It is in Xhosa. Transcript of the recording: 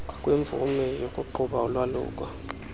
kwimvume yokuqhuba ulwaluko